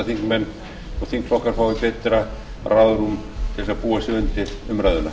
þingmenn og þingflokkar fái betra ráðrúm til að búa sig undir umræðuna